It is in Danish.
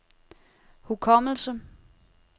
hukommelse